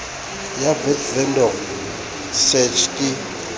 ya vat vendor search ke